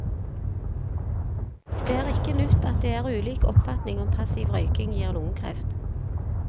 Det er ikke nytt at det er ulik oppfatning om passiv røyking gir lungekreft.